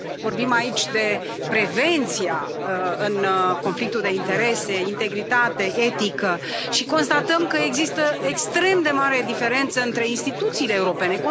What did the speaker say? Vorbim aici de prevenția în conflictul de interese, integritate, etică și constatăm că există extrem de mare diferență între instituțiile europene.